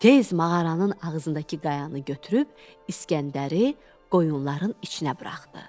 Tez mağaranın ağzındakı qayanı götürüb İsgəndəri qoyunların içinə buraxdı.